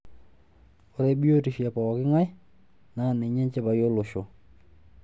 Ore biotisho e pooking'ae naa ninye enchipai olosho.